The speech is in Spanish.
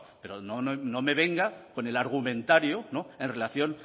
pero no me venga con el argumentario en relación